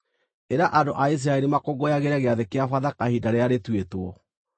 “Ĩra andũ a Isiraeli makũngũyagĩre Gĩathĩ-kĩa-Bathaka ihinda rĩrĩa rĩtuĩtwo.